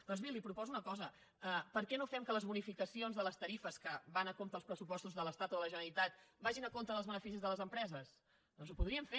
doncs bé li proposo una cosa per què no fem que les bonificacions de les tarifes que van a compte dels pressupostos de l’estat o de la generalitat vagin a compte dels beneficis de les empreses doncs ho podríem fer